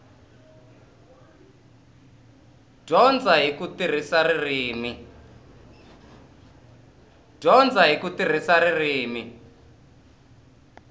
dyondza hi ku tirhisa ririmi